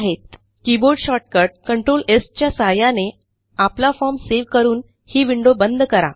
keyboard shortcut control S च्या सहाय्याने आपला फॉर्म सेव्ह करून ही विंडो बंद करा